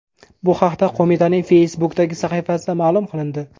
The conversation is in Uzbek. Bu haqda qo‘mitaning Facebook’dagi sahifasida ma’lum qilindi .